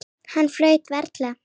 Hann flaut varla.